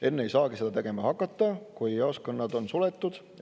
Enne ei saagi seda tegema hakata, kui jaoskonnad on suletud.